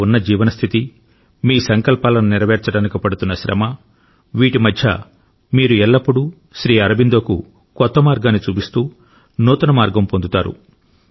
మీరు ఉన్న జీవన స్థితి మీ సంకల్పాలను నెరవేర్చడానికి పడుతున్న శ్రమ వీటి మధ్య మీరు ఎల్లప్పుడూ శ్రీ అరబిందోకు కొత్త మార్గాన్ని చూపిస్తూ నూతన మార్గం పొందుతారు